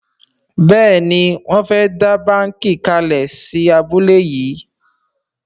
Béèni Wón fè dá bánkì kalè sí abúlé yí.